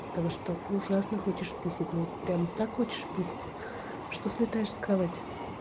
того что ужасно хочешь писять вот прям так хочешь писять что слетаешь с кровати